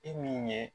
E min ye